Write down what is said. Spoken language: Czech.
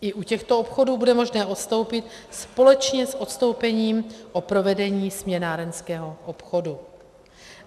I u těchto obchodů bude možné odstoupit společně s odstoupením od provedení směnárenského obchodu.